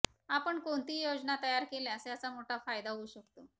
आपण कोणतीही योजना तयार केल्यास याचा मोठा फायदा होऊ शकतो